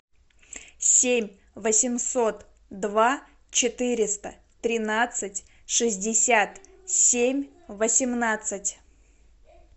семь восемьсот два четыреста тринадцать шестьдесят семь восемнадцать